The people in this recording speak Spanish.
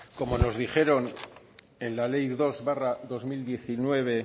como nos dijeron en la ley dos barra dos mil diecinueve